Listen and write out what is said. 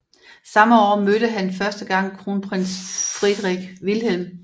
Samme år mødte han første gang kronprins Friedrich Wilhelm